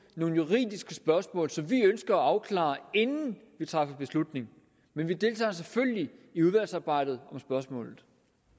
nogle juridiske spørgsmål som vi ønsker at afklare inden vi træffer beslutning men vi deltager selvfølgelig i udvalgsarbejdet om spørgsmålet